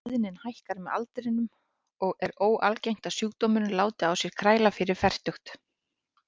Tíðnin hækkar með aldrinum og er óalgengt að sjúkdómurinn láti á sér kræla fyrir fertugt.